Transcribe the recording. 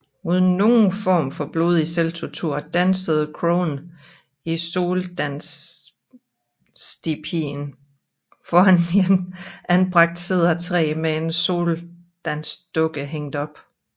Uden nogen form for blodig selvtortur dansede crowen i soldanstipien foran et anbragt cedertræ med en soldansdukke hængt op